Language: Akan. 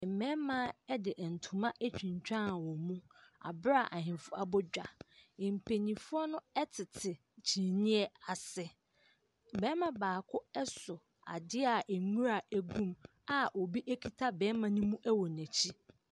Mbɛɛma ɛde ntoma etwintwaawo mu. Aberaa ahenfo abogwa. Mpayimfoɔ no ɛtsetse kyimiɛ ase. Bɛɛma baako ɛso ade aa nwura egum a obi ekita bɛɛma ne mu ɛwɔ n'akyi.